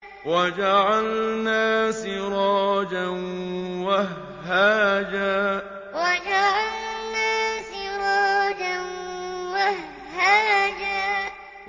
وَجَعَلْنَا سِرَاجًا وَهَّاجًا وَجَعَلْنَا سِرَاجًا وَهَّاجًا